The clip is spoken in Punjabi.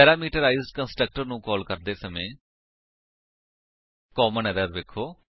ਪੈਰਾਮੀਟਰਾਈਜ਼ਡ ਕੰਸਟਰਕਟਰ ਨੂੰ ਕਾਲ ਕਰਦੇ ਸਮਾਂ ਕਾਮਨ ਐਰਰਸ ਵੇਖੋ